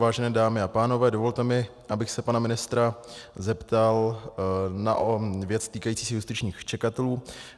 Vážené dámy a pánové, dovolte mi, abych se pana ministra zeptal na věc týkající se justičních čekatelů.